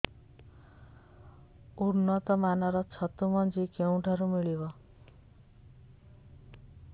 ଉନ୍ନତ ମାନର ଛତୁ ମଞ୍ଜି କେଉଁ ଠାରୁ ମିଳିବ